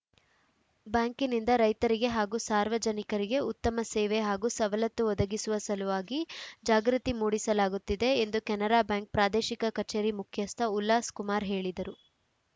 ಬ್ಯಾಂಕಿನಿಂದ ರೈತರಿಗೆ ಹಾಗು ಸಾರ್ವಜನಿಕರಿಗೆ ಉತ್ತಮ ಸೇವೆ ಹಾಗೂ ಸವಲತ್ತು ಒದಗಿಸುವ ಸಲುವಾಗಿ ಜಾಗೃತಿ ಮೂಡಿಸಲಾಗುತ್ತಿದೆ ಎಂದು ಕೆನರಾ ಬ್ಯಾಂಕ್‌ ಪ್ರಾದೇಶಿಕ ಕಚೇರಿ ಮುಖ್ಯಸ್ಥ ಉಲ್ಲಾಸ್‌ ಕುಮಾರ್‌ ಹೇಳಿದರು